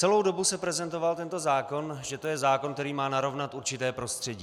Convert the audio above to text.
Celou dobu se prezentoval tento zákon, že to je zákon, který má narovnat určité prostředí.